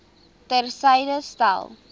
ter syde stel